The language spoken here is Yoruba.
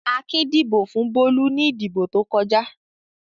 Akin dìbò fún Bólú ní ìdìbò tó kọjá.